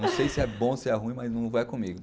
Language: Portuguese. Não sei se é bom, se é ruim, mas não é comigo.